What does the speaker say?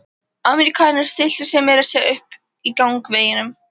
Ameríkaninn stillti sér meira að segja upp í gangveginum.